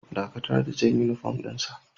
Dakatar da jan uniform din sa!